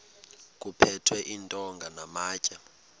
kuphethwe iintonga namatye